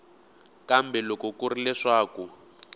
kambe loko ku ri leswaku